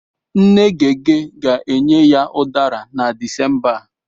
Nne Gege ga-enye ya Udara na Disemba a.